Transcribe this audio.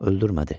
Öldürmədi.